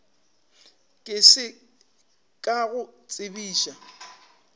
ke se ka go tsebiša